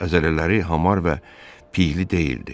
Əzələləri hamar və piyli deyildi.